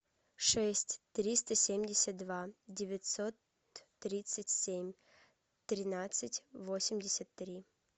шесть триста семьдесят два девятьсот тридцать семь тринадцать восемьдесят три